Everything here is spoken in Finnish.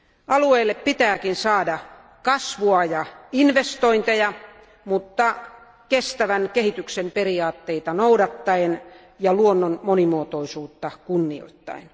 Alueelle pitääkin saada kasvua ja investointeja, mutta kestävän kehityksen periaatteita noudattaen ja luonnon monimuotoisuutta kunnioittaen.